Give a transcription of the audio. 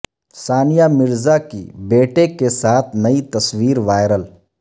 ثانیہ مرزا کی بیٹے کے ساتھ نئی تصویر وائرل